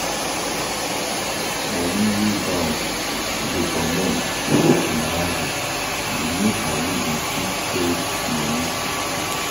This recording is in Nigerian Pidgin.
money wey bank dey comot for my aza da make i no da fit hold money